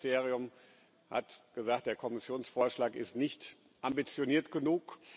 Das Umweltministerium hat gesagt Der Kommissionsvorschlag ist nicht ambitioniert genug.